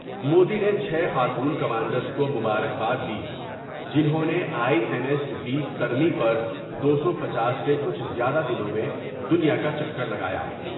مودی نے چھ خاتون کمانڈرس کو مبارک باد دی جنہوں نے آئی این ایس وی تری پر دو سو پنچاس سے کچھ زیادہ دنوں میں دنیا کا چکر لگاۓ ۔